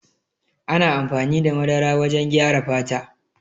Ana amfani da madara wajen gyara fata.